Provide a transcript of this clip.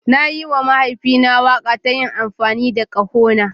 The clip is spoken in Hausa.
Na yi wa mahaifina waƙa ta yin amfani da ƙahona.